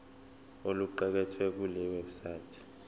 okuqukethwe kule website